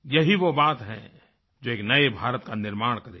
यही वो बात है जो एक नए भारत का निर्माण करेगी